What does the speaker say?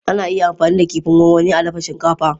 Ana iya amfani da kifin gwangwani a dafa shinkafa.